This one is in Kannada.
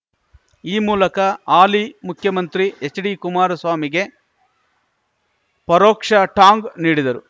ಈ ಮೂಲಕ ಆಲಿ ಮುಖ್ಯಮಂತ್ರಿ ಎಚ್‌ಡಿ ಕುಮಾರಸ್ವಾಮಿಗೆ ಪರೋಕ್ಷ ಟಾಂಗ್‌ ನೀಡಿದರು